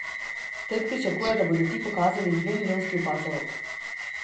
Trg pričakuje, da bodo ti pokazali dvemilijonski upad zalog.